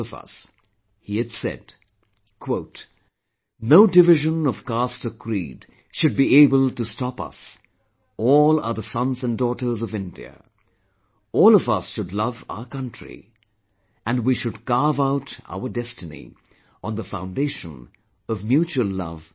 He had said "No division of caste or creed should be able to stop us, all are the sons & daughters of India, all of us should love our country and we should carve out our destiny on the foundation of mutual love & harmony